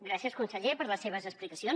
gràcies conseller per les seves explicacions